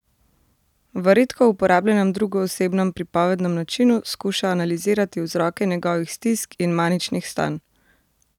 V redko uporabljenem drugoosebnem pripovednem načinu skuša analizirati vzroke njegovih stisk in maničnih stanj.